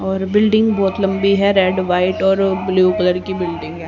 और बिल्डिंग बहोत लंबी है रेड व्हाइट और ब्लू कलर की बिल्डिंग है।